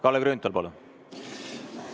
Kalle Grünthal, palun!